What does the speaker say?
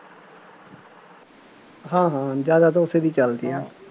ਹਾਂ ਹਾਂ ਜ਼ਿਆਦਾ ਤਾਂ ਉਸੇ ਦੀ ਚੱਲਦੀ ਆ,